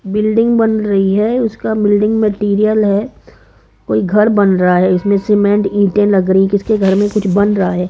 Building बन रही है उसका बिल्डिंग मटेरियल है कोई घर बन रहा है इसमें सीमेंट ईटे लग रही किसके घर में कुछ बन रहा है।